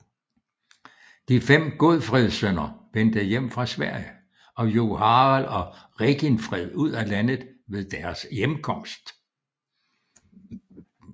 De fem Godfredsønner vendte hjem fra Sverige og jog Harald og Reginfred ud af landet ved deres hjemkomst